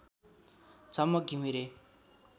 Jhamak Ghimire